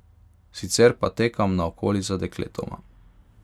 Sicer pa tekam naokoli za dekletoma.